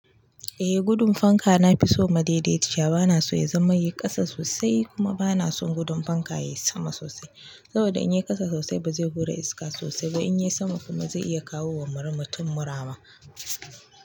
Eh gudun fanka na fi so madaidaiciya s. Bana so ya zama yay ƙasa sosai kuma bana son gudun fanka ya yi sama sosai. Saboda in yay ƙasa sosai baze hura iska sosai ba in yay sama kuma ze iya kawo wa mutum mura ma.